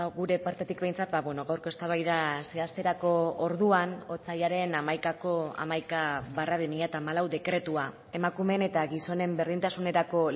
gure partetik behintzat gaurko eztabaida zehazterako orduan otsailaren hamaikako hamaika barra bi mila hamalau dekretua emakumeen eta gizonen berdintasunerako